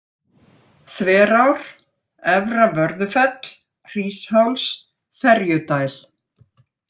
Þverár, Efra-Vörðufell, Hrísháls, Ferjudæl